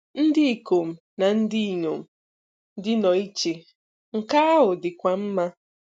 Ndị ikom na ndị inyom dị nnọọ iche, nke ahụ dịkwa mma!